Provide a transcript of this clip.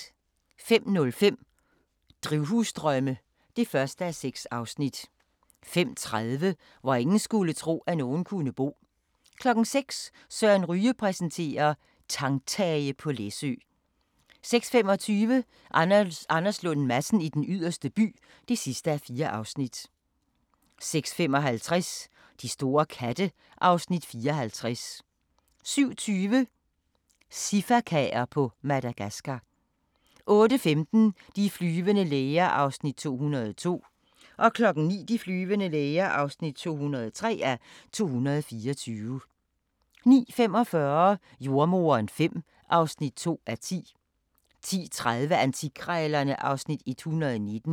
05:05: Drivhusdrømme (1:6) 05:30: Hvor ingen skulle tro, at nogen kunne bo 06:00: Søren Ryge præsenterer: Tangtage på Læsø 06:25: Anders Lund Madsen i Den Yderste By (4:4) 06:55: De store katte (Afs. 54) 07:20: Sifakaer på Madagascar 08:15: De flyvende læger (202:224) 09:00: De flyvende læger (203:224) 09:45: Jordemoderen V (2:10) 10:30: Antikkrejlerne (Afs. 119)